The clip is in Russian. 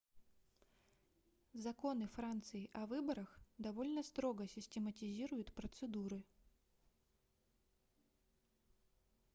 законы франции о выборах довольно строго систематизируют процедуры